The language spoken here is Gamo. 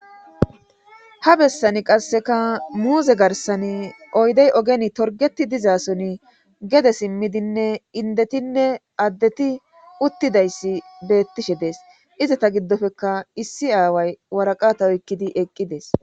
Ha bessani qasseka muuze garsani oydey ogen torgeti dizason gede simmidinne indetinne addeti uttidayssi beettishe dees izata giddofeka issi aaway waraqata oykkidi eqqides